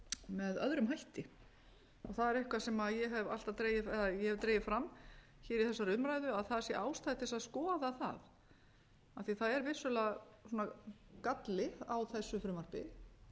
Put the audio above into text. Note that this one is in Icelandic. með öðrum hætti það er eitthvað sem ég hef dregið fram hér í þessari umræðu að það sé ástæða til þess að skoða það af því það er vissulega galli á þessu frumvarpi